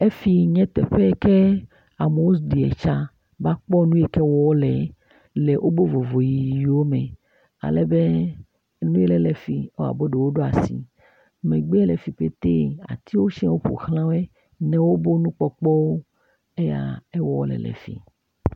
Fi nye teƒe yi ke amewo ɖia tsa va kpɔa nu ke wɔm wole le woƒe vovoʋiwo me ale be nu aɖe le fi abe ɖewo ɖo asi. Megbe le afi petɛ, atiwo sia ƒo xlã wo. Ne woƒe nukpɔkpɔwo, eya ewɔɔ wole le fi.